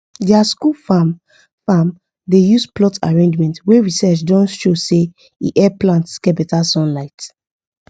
their school farm farm dey use plot arrangement wey research don show say e help plants get better sunlight